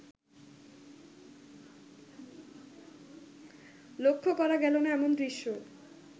লক্ষ্য করা গেলো না এমন দৃশ্য